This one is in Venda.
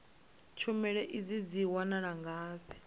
tshumelo idzi dzi wanala ngafhi